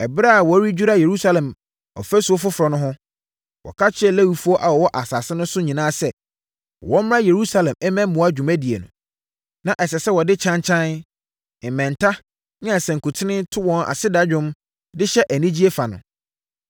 Ɛberɛ a wɔredwira Yerusalem ɔfasuo foforɔ no ho no, wɔka kyerɛɛ Lewifoɔ a wɔwɔ asase no so nyinaa sɛ, wɔmmra Yerusalem mmɛboa dwumadie no. Na ɛsɛ sɛ wɔde kyankyan, mmɛnta ne asankuten to wɔn aseda nnwom de hyɛ anigyeɛ fa no.